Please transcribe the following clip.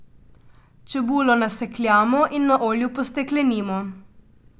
Čebulo nasekljamo in na olju posteklenimo.